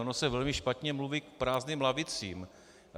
Ono se velmi špatně mluví k prázdným lavicím.